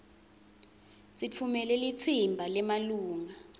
sitfumele litsimba lemalunga